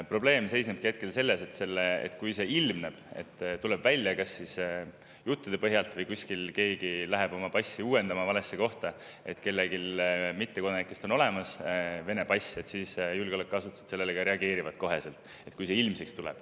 Probleem seisneb selles, et kui ilmneb, et kellelgi mittekodanikest on olemas Vene pass, kui see tuleb välja kas juttude põhjal või läheb keegi oma passi uuendama valesse kohta, siis julgeolekuasutused sellele kohe reageerivad.